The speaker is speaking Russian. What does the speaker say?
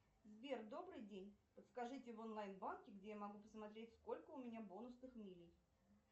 сбер добрый день подскажите в онлайн банке где я могу посмотреть сколько у меня бонусных миль